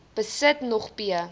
besit nog p